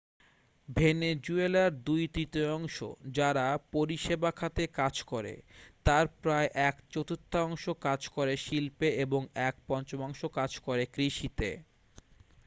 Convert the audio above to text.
ভেনেজুয়েলার দুই তৃতীয়াংশ যারা পরিষেবা খাতে কাজ করে তার প্রায় এক চতুর্থাংশ কাজ করে শিল্পে এবং এক পঞ্চমাংশ কাজ করে কৃষিতে